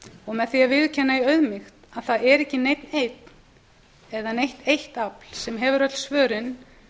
og með því að viðurkenna í auðmýkt að það er ekki neinn einn eða neitt eitt afl sem hefur öll svörin